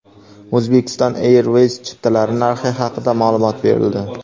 Uzbekistan Airways chiptalari narxi haqida ma’lumot berildi.